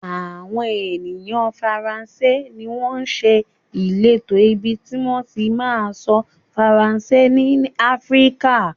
Àwọn ènìyàn faransé ni wọn ṣe ìletò ibi tí wọn ti ma sọ faransé ní Áfíríkà